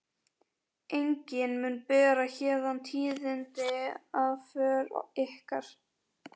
Enginn mun bera héðan tíðindi af för ykkar.